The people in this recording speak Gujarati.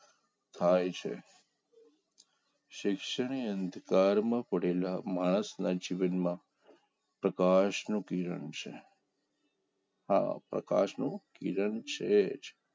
થાય છે શિક્ષણને અંધકારમાં પડેલા માણસના જીવનમાં પ્રકાશનું કિરણ છે હા પ્રકાશનું કિરણ છે જ